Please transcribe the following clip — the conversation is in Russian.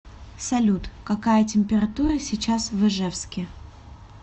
салют какая температура сейчас в ижевске